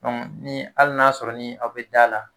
ni hali n'a sɔrɔ ni aw bɛ da la